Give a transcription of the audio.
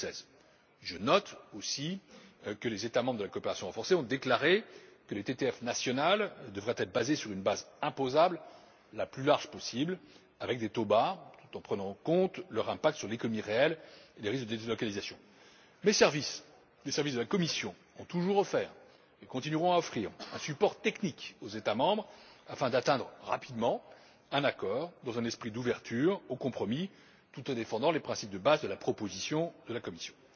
2016. Je note aussi que les États membres de la coopération renforcée ont déclaré que les TTF nationales devraient reposer sur la base imposable la plus large possible avec des taux bas, tout en prenant en compte leur impact sur l'économie réelle et les risques de délocalisation. Les services de la Commission ont toujours offert et continueront à offrir un support technique aux États membres afin de parvenir rapidement à un accord, dans un esprit d'ouverture au compromis, tout en défendant les principes fondamentaux de la proposition de la Commission.